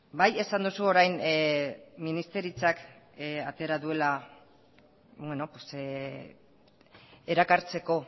bai esan duzu orain ministeritzak atera duela erakartzeko